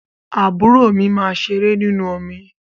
Àbúrò mi máa ṣeré ninú omi.